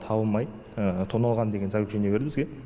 табылмай тоналған деген заключение берді бізге